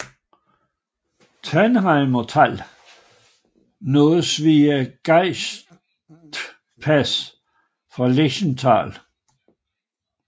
Tannheimer Tal nås via Gaichtpass fra Lechtal